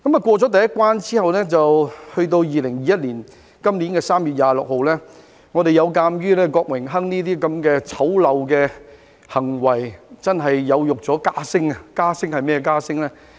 過了第一關後，到2021年3月26日，我們有鑒於郭榮鏗那些醜陋的行為，真的有辱家聲，是甚麼家聲呢？